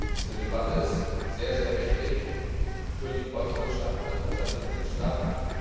Diese Debatte ist sehr wichtig für die Volkswirtschaften in unseren Mitgliedstaaten.